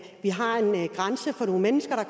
nogle mennesker